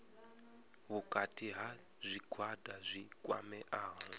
vhukati ha zwigwada zwi kwameaho